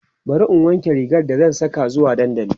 bari in wanke rigar da zan Saka zuwa dandali